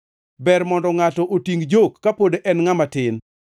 Ber mondo ngʼato otingʼ jok kapod en ngʼama tin.